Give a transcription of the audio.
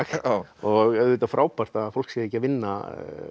og auðvitað frábært að fólk sé ekki að vinna